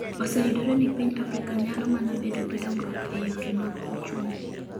oseyudore ni piny Afrika nyalo mana bedo gi dongruok e yore mag uchumi